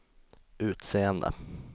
utseende